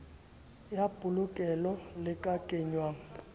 ya polokelo le ka kenngwang